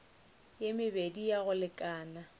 ye mebedi ya go lekana